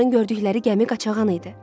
Onların gördükləri gəmi qaçağan idi.